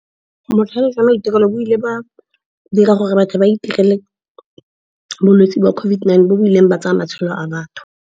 Botlhale jwa maitirelo bo ile ba dira gore batho ba itirele bolwetse jwa COVID-19, bo bo ileng ba tsaya matshelo a batho.